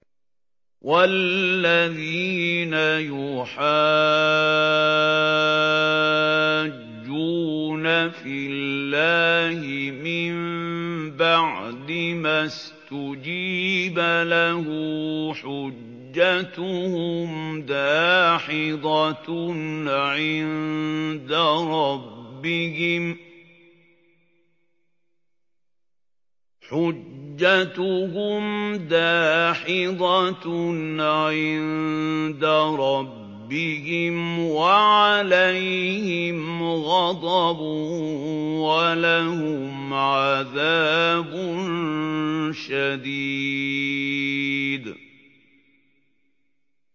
وَالَّذِينَ يُحَاجُّونَ فِي اللَّهِ مِن بَعْدِ مَا اسْتُجِيبَ لَهُ حُجَّتُهُمْ دَاحِضَةٌ عِندَ رَبِّهِمْ وَعَلَيْهِمْ غَضَبٌ وَلَهُمْ عَذَابٌ شَدِيدٌ